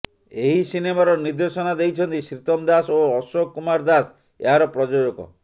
ଏହି ସିନେମାର ନିର୍ଦ୍ଦେଶନା ଦେଇଛନ୍ତି ଶ୍ରୀତମ ଦାସ ଓ ଅଶୋକ କୁମାର ଦାସ ଏହାର ପ୍ରଯୋଜକ